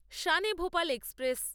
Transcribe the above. Shan e -Bhopal express